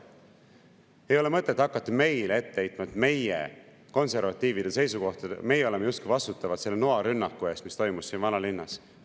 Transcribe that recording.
Ei ole mõtet hakata meile ette heitma, et meie, konservatiivid, oleme justkui vastutavad selle noarünnaku eest, mis toimus vanalinnas.